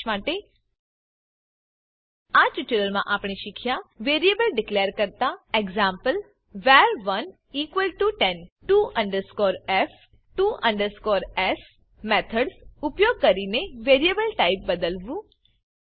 સારાંશ માટે આ ટ્યુટોરીયલમાં આપણે શીખ્યા વેરીએબલ ડીકલેર કરતા e g var110 to f to s methods ઉપયોગ કરીને વેરેબલ ટાઈપ બદલવું